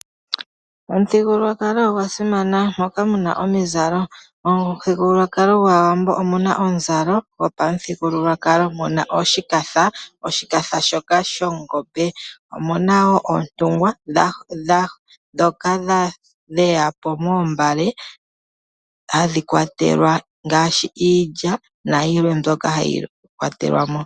Omuthigululwakalo ogwa simana, moka mu na omizalo. Momuthigululwakalo gwAawambo omu na omuzalo gopamuthigululwakalo. Omu na oshikatha, shoka shongombe, omu na wo oontungwa ndhoka dha tungwa moombale hadhi kwatelwa iinima ngaashi iilya nayilwe mbyoka hayi kwatelwa mo.